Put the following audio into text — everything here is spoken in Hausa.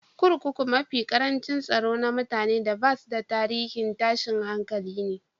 Kurkukun mafi karancin tsaro na mutane da basu da tarihin tashin hankali ne.